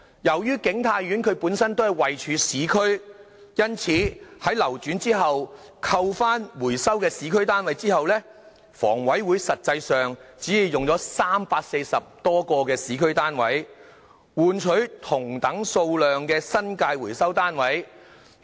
由於景泰苑位處市區，因此，在流轉後，扣去回收的市區單位後，房委會實際上只用了340多個市區單位，換取同等數量的新界回收單位。